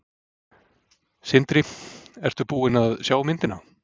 Sindri: Ertu búin að sjá myndina?